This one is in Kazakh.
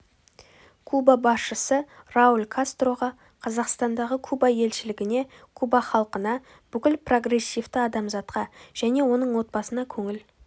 куба басшысы рауль кастроға қазақстандағы куба елшілігіне куба халқына бүкіл прогрессивті адамзатқа және оның отбасына көңіл